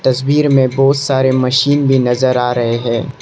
तस्वीर में बहुत सारे मशीन भी नजर आ रहे हैं।